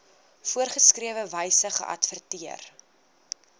voorgeskrewe wyse geadverteer